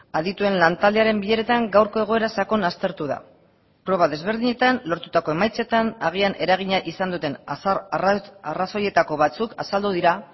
adituen lan taldearen bileretan gaurko egoera sakon aztertu da proba desberdinetan lortutako emaitzetan agian eragina izan duten arrazoietako batzuk azaldu dira